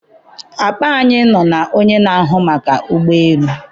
akpa anyị nọ na onye na-ahụ maka ụgbọ elu.